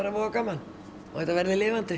voða gaman og þetta verði lifandi